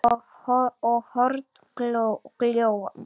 og horn glóa